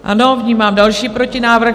Ano, vnímám další protinávrh.